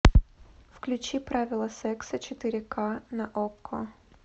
включи правила секса четыре ка на окко